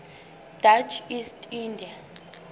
dutch east india